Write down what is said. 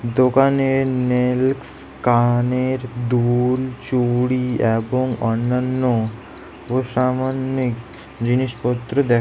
দোকানে নেইলকস কানের দুল চুড়ি এবং অন্যান্য অসামান্যিক জিনিসপত্র দেখ--